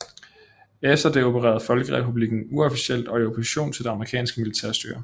Efter det opererede folkerepublikken uofficielt og i opposition til det amerikanske militærstyre